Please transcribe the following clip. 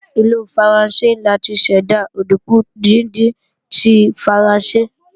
Ìlú Faransé ni a ti ṣẹ̀dá òdùnkún díndín tí Faransé